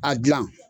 A gilan